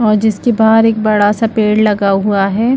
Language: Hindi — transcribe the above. और जिसके बाहर एक बड़ा सा पेड़ लगा हुआ है।